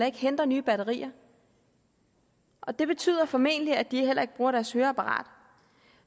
ikke henter nye batterier og det betyder formentlig at de heller ikke bruger deres høreapparat